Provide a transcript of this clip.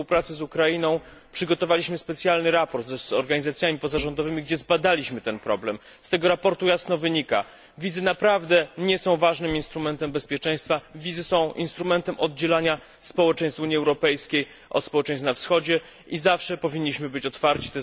współpracy z Ukrainą, którą kieruję, przygotowaliśmy specjalny raport z organizacjami pozarządowymi, w którym zbadaliśmy ten problem. Z tego raportu jasno wynika, że wizy naprawdę nie są ważnym instrumentem bezpieczeństwa, wizy są instrumentem oddzielania społeczeństw Unii Europejskiej od społeczeństw na Wschodzie i zawsze powinniśmy być otwarci.